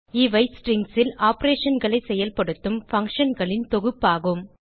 இவை ஸ்ட்ரிங்ஸ் ல் operationகளை செயல்படுத்தும் functionகளின் தொகுப்பாகும்